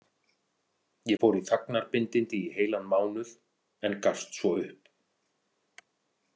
Ég fór í þagnarbindindi í heilan mánuð en gafst svo upp.